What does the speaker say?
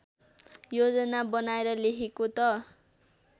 योजना बनाएर लेखेको त